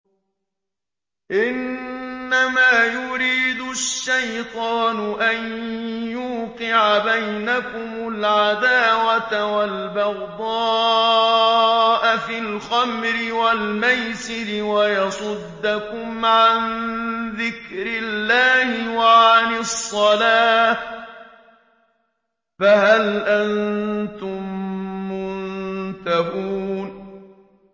إِنَّمَا يُرِيدُ الشَّيْطَانُ أَن يُوقِعَ بَيْنَكُمُ الْعَدَاوَةَ وَالْبَغْضَاءَ فِي الْخَمْرِ وَالْمَيْسِرِ وَيَصُدَّكُمْ عَن ذِكْرِ اللَّهِ وَعَنِ الصَّلَاةِ ۖ فَهَلْ أَنتُم مُّنتَهُونَ